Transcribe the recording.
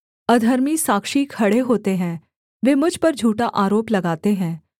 अधर्मी साक्षी खड़े होते हैं वे मुझ पर झूठा आरोप लगाते हैं